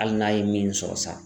Hali n'a ye min sɔrɔ sa